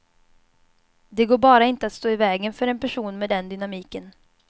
Det går bara inte att stå i vägen för en person med den dynamiken.